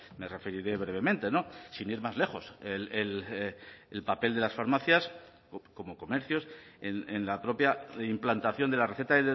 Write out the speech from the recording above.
me referiré brevemente sin ir más lejos el papel de las farmacias como comercios en la propia implantación de la receta